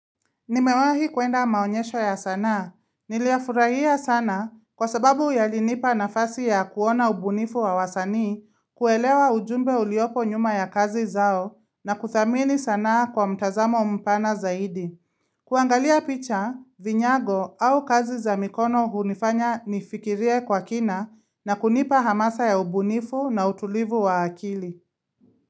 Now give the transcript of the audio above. Nimewahi kwenda maonyesho ya sanaa. Niliyafurahia sana kwa sababu yalinipa nafasi ya kuona ubunifu wa wasanii kuelewa ujumbe uliopo nyuma ya kazi zao na kuthamini sanaa kwa mtazamo mpana zaidi. Kuangalia picha, vinyago au kazi za mikono hunifanya nifikirie kwa kina na kunipa hamasa ya ubunifu na utulivu wa akili.